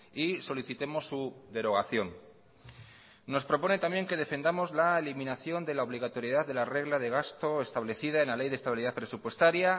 y solicitemos su derogación nos propone también que defendamos la eliminación de la obligatoriedad de la regla de gasto establecida en la ley de estabilidad presupuestaria